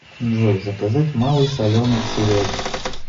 джой заказать малый соленый к сериальчику